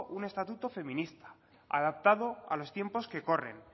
un estatuto feminista adaptado a los tiempos que corren